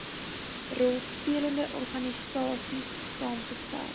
rolspelende organisaies saamgestel